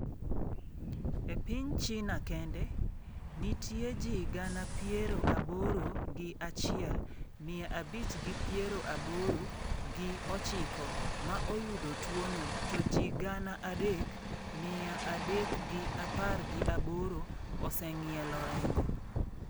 E piny China kende, nitie ji gana piero aboro gi achiel, mia abich gi piero aboro gi ochiko ma oyudo tuwono to ji gana adek, mia adek gi apar gi aboro oseng'ielo rengo.